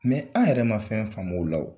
Mɛ an yɛrɛ ma fɛn faamu o la